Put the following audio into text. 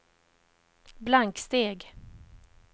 blanksteg